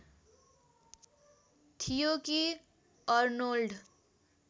थियो कि अर्नोल्ड